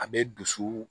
A bɛ dusu